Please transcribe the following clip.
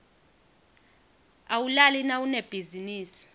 awulali nawunebhizinisi